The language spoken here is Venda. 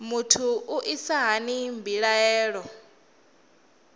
muthu u isa hani mbilaelo